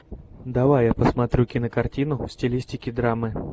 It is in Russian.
давай я посмотрю кинокартину в стилистике драмы